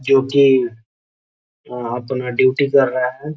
जोकि अपना ड्यूटी कर रहा है |